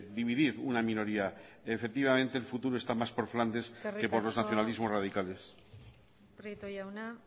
dividir una minoría efectivamente el futuro está más por flandes que por los nacionalismos radicales eskerrik asko prieto jauna